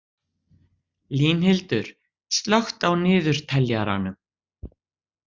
Línhildur, slökktu á niðurteljaranum.